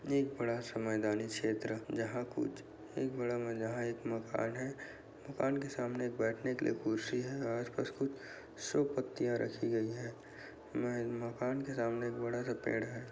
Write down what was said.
एक बड़ा सा मैदानी क्षेत्र जहां कुछ एक बड़ा मकान है। मकान के सामने बैठने के लिए कुर्सी हैं। आस-पास कुछ शो पत्तियां रखी गई हैं। म मकान के सामने एक बड़ा सा पेड़ है।